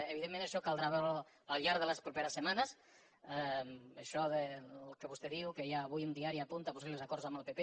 evidentment això caldrà veure ho al llarg de les properes setmanes això que vostè diu que hi ha avui un diari que apunta possibles acords amb el pp